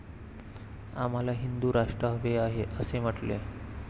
आम्हाला हिंदु राष्ट्र हवे आहे, असे म्हटले.